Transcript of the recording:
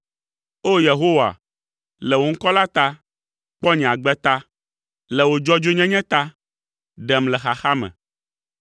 O! Yehowa, le wò ŋkɔ la ta, kpɔ nye agbe ta, le wò dzɔdzɔenyenye ta, ɖem le xaxa me.